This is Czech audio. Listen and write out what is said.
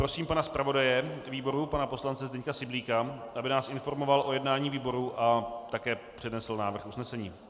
Prosím pana zpravodaje výboru, pana poslance Zdenka Syblíka, aby nás informoval o jednání výboru, a také přednesl návrh usnesení.